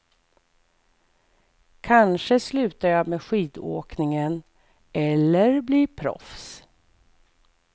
Kanske slutar jag med skidåkningen eller blir proffs.